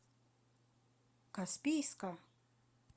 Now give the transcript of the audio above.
каспийска